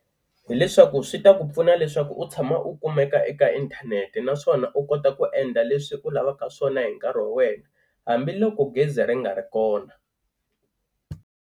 Hi leswaku swi ta ku pfuna leswaku u tshama u kumeka eka inthanete naswona u kota ku endla leswi u lavaka swona hi nkarhi wa wena hambiloko gezi ri nga ri kona.